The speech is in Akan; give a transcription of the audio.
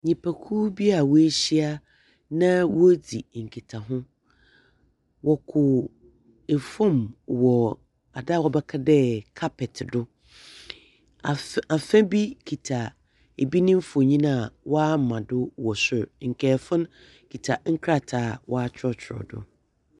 Nnipakuo bi a woehyia na woridzi nkitaho. Wɔko fam wɔ ade a wobɛka dɛ carpet do. Af afe bi kita ebi ne mfonin a wama do wɔ sor. Nkaefo no kita nkrataa a wɔatwerɛtwerɛ do.